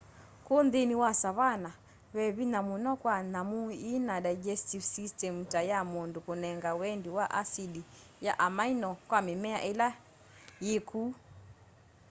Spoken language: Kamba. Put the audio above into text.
ku nthini wa savanna ve vinya muno kwa nyamu yina digestive systemu ta ya mundu kunega wendi wa acidi ya amino kwa mimea ila yi ku